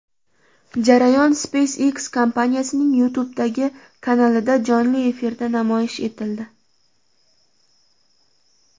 Jarayon SpaceX kompaniyasining YouTube’dagi kanalida jonli efirda namoyish etildi.